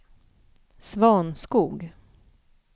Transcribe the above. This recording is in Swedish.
Svanskog